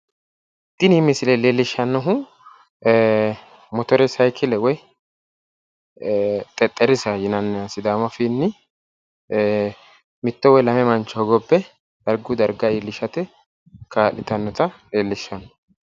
Tini misile leellishshannohu motore sayikkile woyi xexxerrisa yinanniha sidaamu afiinni mitto woyi lame mancho hogobbe darguyi darga iillishate kaa'litannota leellishshanno.